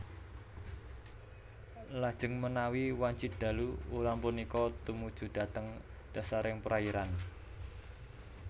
Lajeng menawi wanci dalu ulam punika tumuju dhateng dhasaring perairan